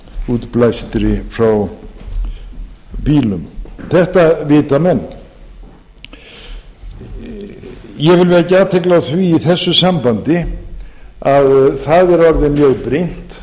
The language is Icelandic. útblæstri frá bílum þetta vita menn ég vil vekja athygli á því í þessu sambandi að það orðið mjög brýnt